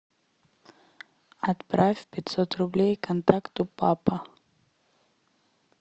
отправь пятьсот рублей контакту папа